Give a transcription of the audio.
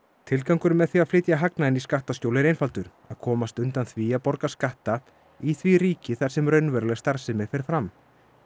tilgangurinn með því að flytja hagnaðinn í skattaskjól er einfaldur að komast undan því að borga skatta í því ríki þar sem raunveruleg starfsemi fer fram